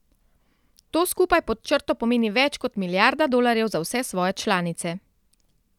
To skupaj pod črto pomeni več kot milijarda dolarjev za vse svoje članice.